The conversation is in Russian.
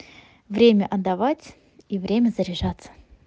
время отдавать и время заряжаться